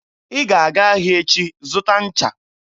Ị ga-aga ahịa echi zụta ncha!